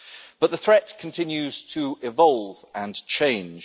But the threat continues to evolve and change.